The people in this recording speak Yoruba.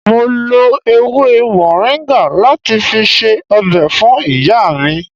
Mo lo ewé moringa láti fi ṣe ọbẹ̀ fún ìyá mi